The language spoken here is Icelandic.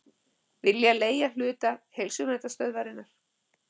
Vilja leigja hluta Heilsuverndarstöðvarinnar